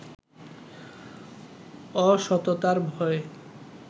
অসততার ভয়ে